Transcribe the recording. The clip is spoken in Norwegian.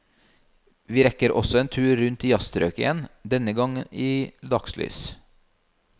Vi rekker også en tur rundt i jazzstrøket igjen, denne gang i dagslys.